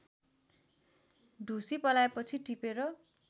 ढुसी पलाएपछि टिपेर